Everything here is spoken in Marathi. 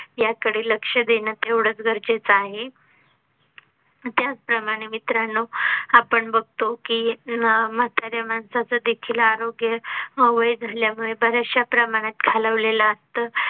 याकडे लक्ष देण तेवढच गरजेच आहे. त्याचप्रमाणे मित्रांनो, आपण बघतो की अं म्हाताऱ्या माणसाचं देखील आरोग्य वय झाल्यामुळे बर्याचश्या प्रमाणात खालावलेल असत